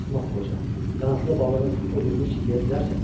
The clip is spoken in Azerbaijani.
Axmaq qoca, qanadlı balığın o birini heç yeyə bilərsən?